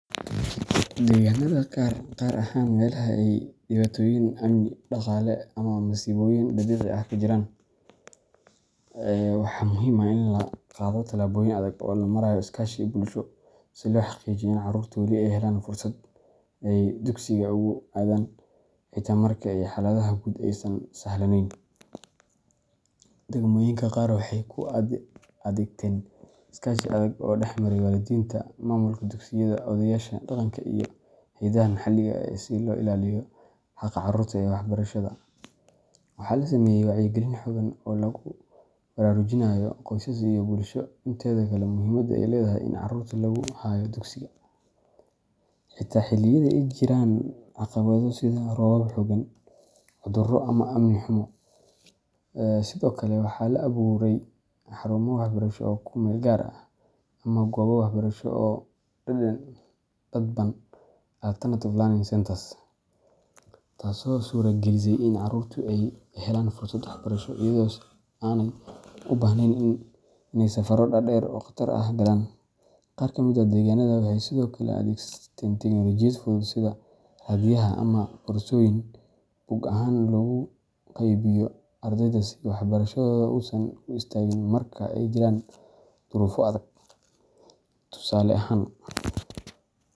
Deegaannada qaar, gaar ahaan meelaha ay dhibaatooyin amni, dhaqaale, ama masiibooyin dabiici ah ka jiraan, waxaa muhiim ah in la qaado tallaabooyin adag oo loo marayo iskaashi bulsho, si loo xaqiijiyo in carruurta weli ay helaan fursad ay dugsiga ugu aadaan, xitaa marka xaaladaha guud aysan sahlanayn. Degmooyinka qaar waxay u adeegteen iskaashi adag oo dhexmaray waalidiinta, maamulka dugsiyada, odayaasha dhaqanka, iyo hay’adaha maxalliga ah si loo ilaaliyo xaqa carruurta ee waxbarashada. Waxaa la sameeyey wacyigelin xooggan oo lagu baraarujinayo qoysaska iyo bulshada inteeda kale muhiimadda ay leedahay in carruurta lagu hayo dugsiga, xitaa xilliyada ay jiraan caqabado sida roobab xooggan, cudurro, ama amni xumo. Sidoo kale, waxaa la abuurey xarumo waxbarasho oo ku meel gaar ah, ama goobo waxbarasho oo dadban alternative learning centers, taasoo suuragelisey in carruurta ay helaan fursad waxbarasho iyadoo aanay u baahnayn inay safarro dhaadheer oo khatar ah galaan. Qaar ka mid ah deegaannada waxay sidoo kale adeegsadeen teknoolojiyad fudud sida raadiyaha ama koorsooyin buug ahaan loogu qaybiyo ardayda si waxbarashadooda uusan u istaagin marka ay jiraan duruufo adag. Tusaale ahaan.